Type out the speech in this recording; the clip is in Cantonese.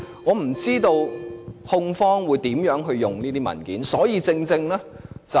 我不知道控方會如何運用這些文件。